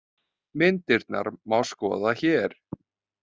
Myndirnar má skoða hér